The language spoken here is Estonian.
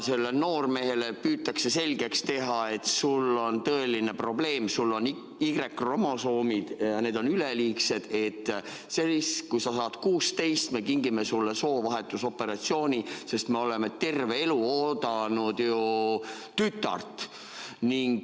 Sellele noormehele püütakse selgeks teha, et sul on tõeline probleem, sul on Y-kromosoomid ja need on üleliigsed, ning siis, kui sa saad 16, kingime sulle soovahetusoperatsiooni, sest me oleme terve elu oodanud ju tütart.